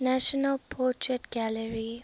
national portrait gallery